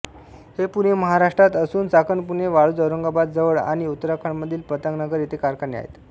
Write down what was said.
हे पुणे महाराष्ट्रात असून चाकण पुणे वाळूज औरंगाबाद जवळ आणि उत्तराखंडमधील पंतनगर येथे कारखाने आहेत